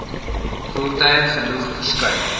voertuie genoeg verskuif